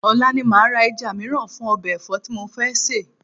Ọ̀la ni màá ra ẹja mìíràn fún ọbẹ̀ ẹ̀fọ́ tí mo fẹ́ sè